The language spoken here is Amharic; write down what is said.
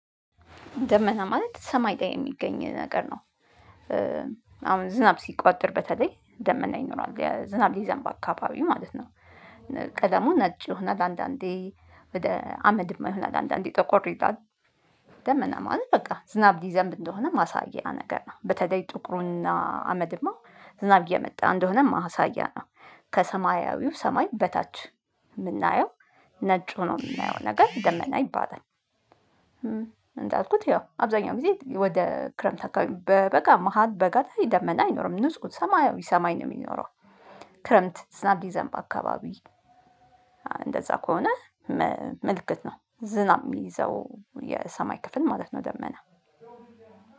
ደመና ማለት ሰማይ ላይ የሚገኝ ነገር ነው። አሁን ዝናብ ሲቋጥር በተለይ ደመና ይኖራል የዝናብ ሊዘንብ አካባቢ ማለት ነው። ቀለሙ ነጭ ይሆናል አንዳንዴ ወደ አመድማ ይሆናል አንዳንዴ ጠቆር ይላል። ደመና ማለት በቃ ዝናብ ሊዘንብ እደሆን ማሳያ ነገር ነው። በተለይ ጥቁሩና አመድማ ዝናብ እየመጣ እንደሆነ ማሳያ ነው። ከሰማያዊው ሰማይ በታች የምናየው ነጭ ሆኖ የምናየው ነገር ደመና ይባላል። እንዳልኩት ያው አብዛኛው ጊዜ ወደ ክረምት አካባቢ በበጋ መሃል በጋ ላይ ደመና አይኖርም ንጹህ ሰማያዊ ሰማይ ነው የሚኖረው። ክረምት ዝናብ ሊዘንብ በአካባቢ እንደዛ ከሆነ ምልክት ነው ዝናብ የሚይዘው የሰማይ ክፍል ማለት ነው። ደመና